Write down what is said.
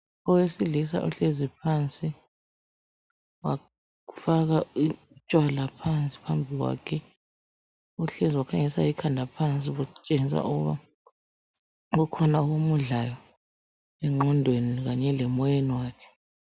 Owesilisa uhlezi phansi wafaka utshwala phansi phambi kwakhe uhlezi wakhangelisa ikhanda phansi okutshengisa ukuthi kukhona okumudlayo enqondweni lasemoyeni wakhe.